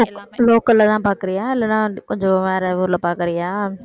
local லதான் பாக்குறியா இல்லைன்னா கொஞ்சம் வேற ஊர்ல பாக்குறியா